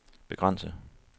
begrænse